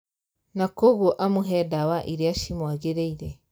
Na koguo amũhe ndawa iria cimwagĩrĩire